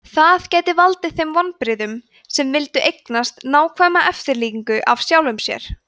það gæti valdið þeim vonbrigðum sem vildu eignast nákvæma eftirlíkingu af sjálfum sér